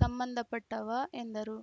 ಸಂಬಂಧಪಟ್ಟವ ಎಂದರು